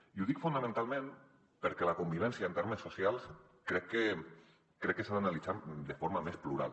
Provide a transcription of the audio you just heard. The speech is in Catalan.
i ho dic fonamentalment perquè la convivència en termes socials crec que s’ha d’analitzar de forma més plural